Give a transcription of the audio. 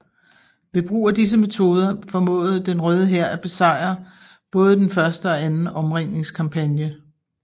Ved brug af disse metode formåede den Røde Hær at besejret både den første og anden omringningskampagne